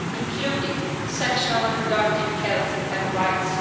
including sexual and reproductive health and rights.